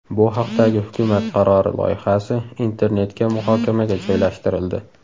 Bu haqdagi hukumat qarori loyihasi internetga muhokamaga joylashtirildi.